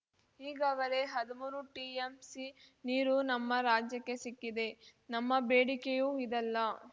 ಈಗಾಗಲೇ ಹದುಮೂರು ಟಿಎಂಸಿ ನೀರು ನಮ್ಮ ರಾಜ್ಯಕ್ಕೆ ಸಿಕ್ಕಿದೆ ನಮ್ಮ ಬೇಡಿಕೆಯೂ ಇದಲ್ಲ